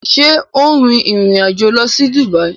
Ṣe o n rìn ìrìn àjò lọ sí Dubai?